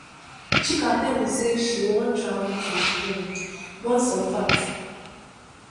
Chika tell me say she wan travel to um burn some fat